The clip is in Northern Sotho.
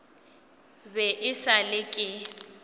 be e sa le ke